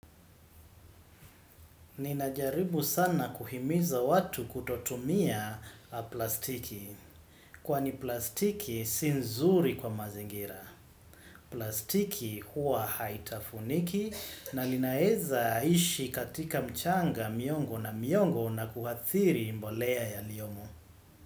Ninajaribu sana kuhimiza watu kutotumia plastiki, kwa ni plastiki si nzuri kwa mazingira. Plastiki huwa haitafuniki na linaeza ishi katika mchanga, miongo na miongo na kuhathiri mbolea ya liyomo.